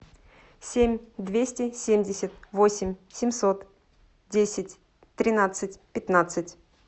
семь двести семьдесят восемь семьсот десять тринадцать пятнадцать